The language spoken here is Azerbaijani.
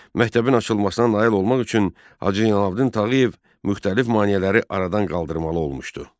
Məktəbin açılmasına nail olmaq üçün Hacı Zeynallabdin Tağıyev müxtəlif maneələri aradan qaldırmalı olmuşdu.